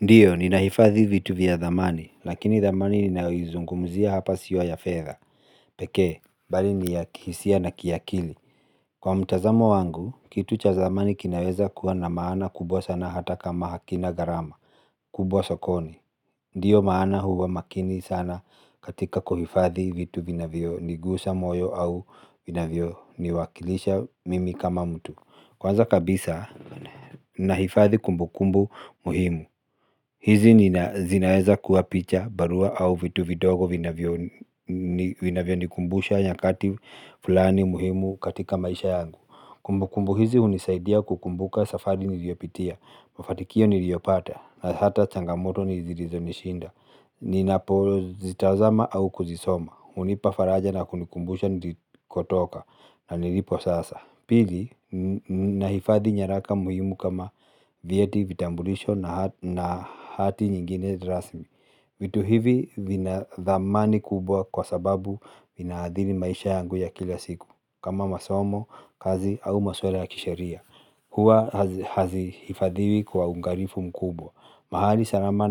Ndiyo, ninahifadhi vitu vya thamani, lakini thamani ninayoizungumzia hapa sio ya fedha. Peke, bali ni ya kihisia na kiakili. Kwa mtazamo wangu, kitu cha thamani kinaweza kuwa na maana kubwa sana hata kama hakina gharama. Kubwa sokoni. Ndiyo maana huwa makini sana katika kuhifadhi vitu vinavyonigusa moyo au vinavyoniwakilisha mimi kama mtu. Kwanza kabisa ninahifadhi kumbukumbu muhimu. Hizi zinaweza kuwa picha, barua au vitu vidogo vinavyonikumbusha nyakati fulani muhimu katika maisha yangu. Kumbukumbu hizi hunisaidia kukumbuka safari niliyopitia, mafanikio niliyopata na hata changamoto zilizonishinda. Ninapo zitazama au kuzisoma, hunipafaraja na kunikumbusha nilikotoka na nilipo sasa. Pili, nahifadhi nyaraka muhimu kama vieti, vitambulisho na hati nyingine rasmi vitu hivi vina thamani kubwa kwa sababu zinaathiri maisha yangu ya kila siku kama masomo, kazi au masuala ya kisheria. Huwa hazihifadhiwi kwa uangalifu mkubwa, mahali salama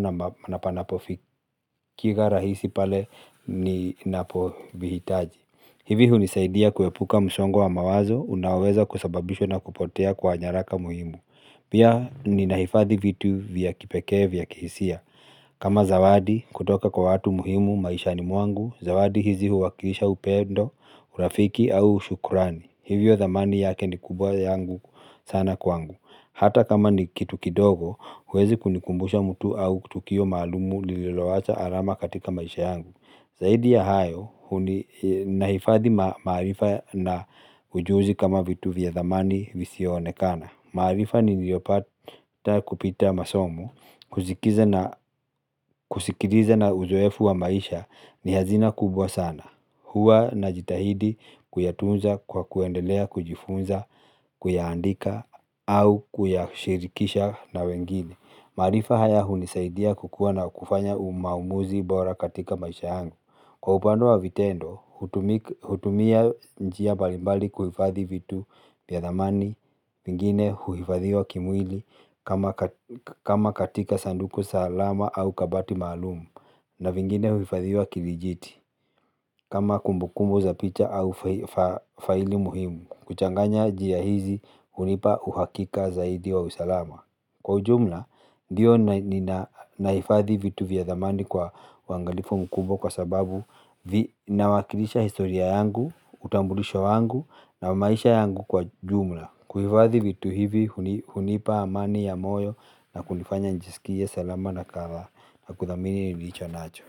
na panapofikiza rahisi pale ninapozihitaji. Hivi hunisaidia kuepuka msongo wa mawazo unaweza kusababishwa na kupotea kwa nyaraka muhimu. Pia ninahifadhi vitu vya kipekee vya kihisia. Kama zawadi kutoka kwa watu muhimu maisha ni muangu, zawadi hizi huwakilisha upendo, urafiki au shukurani. Hivyo thamani yake ni kubwa sana kwangu. Hata kama nikitu kidogo, huweza kunikumbusha mtu au tukio maalum lililowacha alama katika maisha yangu. Zaidi ya hayo, nahifadhi maarifa na ujuzi kama vitu vya zamani visivyoonekana. Maarifa ni niliyopata kupitia masomo, kusikiliza na uzoefu wa maisha ni hazina kubwa sana. Huwa najitahidi kuyatunza kwa kuendelea kujifunza, kuyaandika au kuyashirikisha na wengine, maarifa haya hunisaidia kukuwa na kufanya maamuzi bora kwa maisha yangu. Kwa upande wa vitendo hutumia njia mbalimbali kuhifadhi vitu vya thamani ingine huifadhiwa kimwili ama katika sanduku salama au kabati maalum. Na vingine huifadhiwa kivijiti. Kama kumbukumbu za picha au faili muhimu. Kuchanganya njia hizi hunipa uhakika zaidi wa usalama. Kwa jumla, ndiyo naifadhi vitu vya thamani kwa uangalifu mkubwa kwa sababu na wakilisha historia yangu, utambulisho wangu na maisha yangu kwa jumla. Kuhifadhi vitu hivi, hunipa amani ya moyo na kunifanya nijisikie salama na kuthamini nilichonacho.